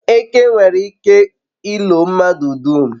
eke nwere ike ilo mmadu dum